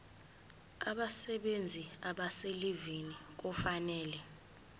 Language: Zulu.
abasebenzi abaselivini kufanele